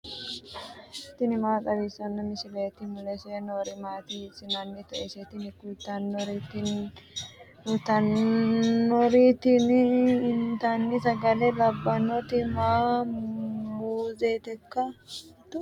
tini maa xawissanno misileeti ? mulese noori maati ? hiissinannite ise ? tini kultannori tini intanni sagale labbannoti maati muuzeteikka